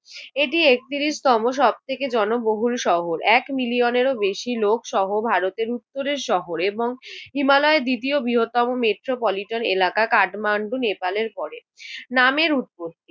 এটি একত্রিশতম সব থেকে জনবহুল শহর। এক মিলিয়নেরও বেশি লোকসহ ভারতের উত্তরের শহর এবং হিমালয়ের দ্বিতীয় বৃহত্তম মেট্রোপলিটন এলাকা। কাঠমাণ্ডু নেপালের পরে। নামের উদ্ভব।